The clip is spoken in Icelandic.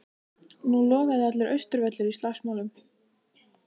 Nú logaði allur Austurvöllur í slagsmálum.